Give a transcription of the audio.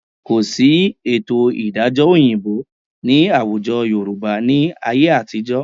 Kò sí ètò ìdájọ́ òyìnbó ní àwùjọ Yorùbá ni ayé àtijọ́